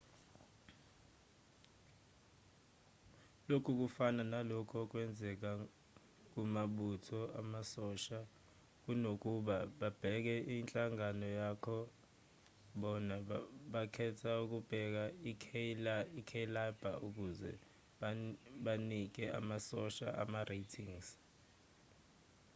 lokhu kufana nalokhu okwenzeka kumabutho amasosha kunokuba babheke inhlanga yakho bona bakhetha ukubeka i-cailaber ukuze banike amasosha ama-ratings